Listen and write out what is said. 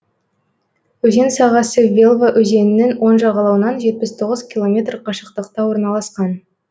өзен сағасы велва өзенінің оң жағалауынан жетпіс тоғыз километр қашықтықта орналасқан